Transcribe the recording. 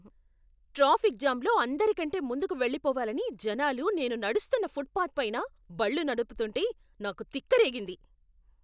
Traffic jam లో అందరికంటే ముందుకు వెళ్లిపోవాలని జనాలు నేను నడుస్తున్న ఫుట్పాత్పైన బళ్ళు నడుపుతుంటే, నాకు తిక్కరేగింది.